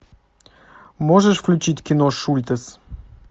можешь включить кино шультес